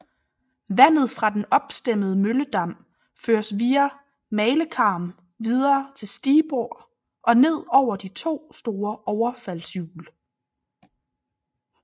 Vandet fra den opstemmede mølledam føres via malekarm videre til stigbord og ned over de to store overfaldshjul